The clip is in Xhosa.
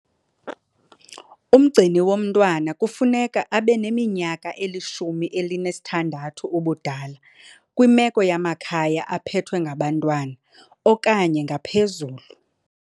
Umgcini womntwana kufuneka abe neminyaka eli-16 ubudala, kwimeko yamakhaya aphethwe ngabantwana, okanye ngaphezulu.